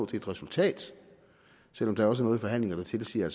til et resultat selv om der jo også er noget i forhandlinger der tilsiger at